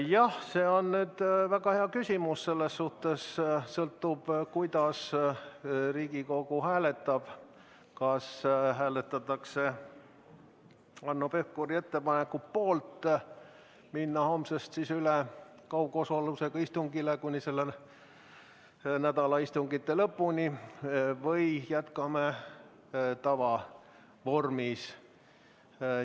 Jah, see on väga hea küsimus ja nüüd sõltub kõik sellest, kuidas Riigikogu hääletab: kas hääletatakse Hanno Pevkuri ettepaneku poolt minna homsest üle sel nädalal kaugosalusega istungitele või jätkame tavavormis.